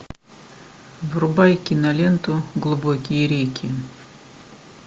врубай киноленту глубокие реки